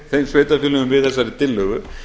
úr þeim sveitarfélögum við þessari tillögu